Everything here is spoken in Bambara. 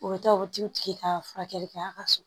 U bɛ taa u bɛ t'u tigi ka furakɛli kɛ a ka so